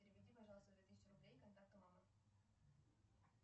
переведи пожалуйста две тысячи рублей контакту мама